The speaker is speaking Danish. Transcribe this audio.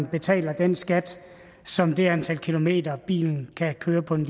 betaler den skat som det antal kilometer som bil kan køre på en